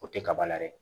O tɛ kaba la dɛ